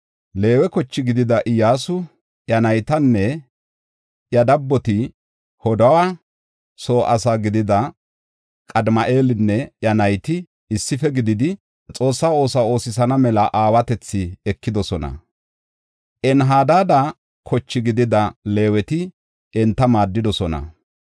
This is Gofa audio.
Leewe koche gidida Iyyasu, iya naytanne iya dabboti, Hodawa soo asi gidida Qadimi7eelinne iya nayti issife gididi, Xoossa oosuwa oosisana mela aawatethi ekidosona; Enhadada koche gidida Leeweti enta maaddidosona.